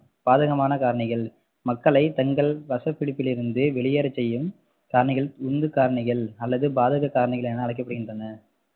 பாதகமான காரணிகள் மக்களை தங்கள் வசப்பிடிப்பிலிருந்து வெளியேற செய்யும் காரணிகள் உந்து காரணிகள் அல்லது பாதக காரணிகள் என அழைக்கப்படுகின்றன